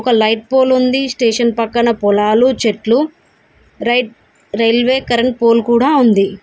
ఒక light pole ఉంది station పక్కన పొలాలు చెట్లు రైట్ రైల్వే కరెంట్ పోల్ కూడా ఉంది.